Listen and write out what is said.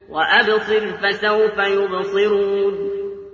وَأَبْصِرْ فَسَوْفَ يُبْصِرُونَ